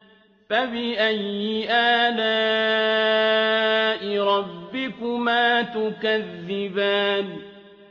فَبِأَيِّ آلَاءِ رَبِّكُمَا تُكَذِّبَانِ